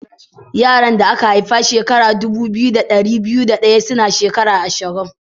Yaran da aka haifa shekara dubu biyu da dari biyu da daya suna shekaru ashirin.